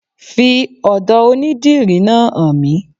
Fi ọ́dọ̀ onidìrí náà hàn mí